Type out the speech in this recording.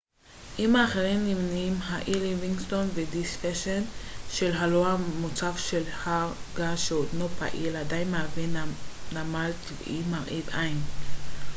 עם האחרים נמנים האי ליווינגסטון ודיספשן שם הלוע המוצף של הר געש שעודנו פעיל עדיין מהווה נמל טבעי מרהיב עין